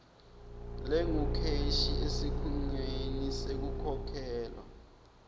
lengukheshi esikhungweni sekukhokhelwa